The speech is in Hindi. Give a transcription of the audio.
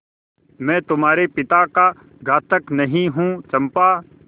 मैं तुम्हारे पिता का घातक नहीं हूँ चंपा